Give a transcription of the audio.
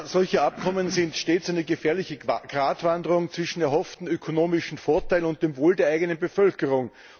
Solche Abkommen sind stets eine gefährliche Gratwanderung zwischen erhofften ökonomischen Vorteilen und dem Wohl der eigenen Bevölkerung.